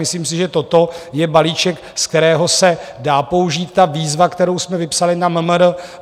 Myslím si, že toto je balíček, ze kterého se dá použít ta výzva, kterou jsme vypsali na MMR.